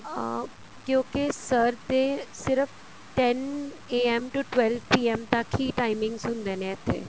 ਅਹ ਕਿਉਂਕਿ sir ਤੇ ਸਿਰਫ਼ ten AM to twelve PM ਤੱਕ ਹੀ timing ਹੁੰਦੇ ਨੇ ਇੱਥੇ